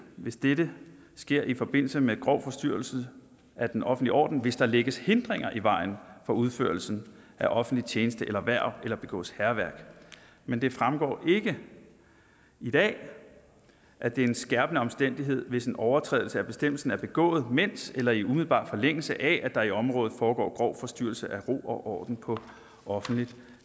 hvis dette sker i forbindelse med grov forstyrrelse af den offentlige orden hvis der lægges hindringer i vejen for udførelsen af offentlig tjeneste eller hverv eller begås hærværk men det fremgår ikke i dag at det er en skærpende omstændighed hvis en overtrædelse af bestemmelsen er begået mens eller i umiddelbar forlængelse af at der i området foregår grov forstyrrelse af ro og orden på offentligt